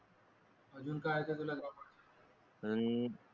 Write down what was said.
अजून काय येते तुला